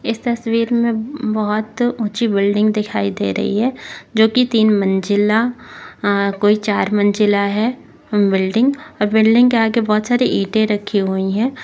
इस तस्वीर मे बहोत उची बिल्डिंग दिखाई दे रही है जो की तीन मंजीला हा कोई चार मंजीला है बिल्डिंग और बिल्डिंग के आगे बहोत सारे इठे रखे हुए है।